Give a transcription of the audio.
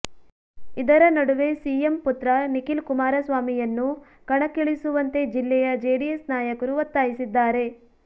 ಇದರ ನಡುವೆ ಸಿಎಂ ಪುತ್ರ ನಿಖಿಲ್ ಕುಮಾರಸ್ವಾಮಿಯನ್ನು ಕಣಕ್ಕಿಳಿಸುವಂತೆ ಜಿಲ್ಲೆಯ ಜೆಡಿಎಸ್ ನಾಯಕರು ಒತ್ತಾಯಿಸಿದ್ದಾರೆ